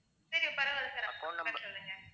சரி பரவாயில்ல sir account number சொல்லுங்க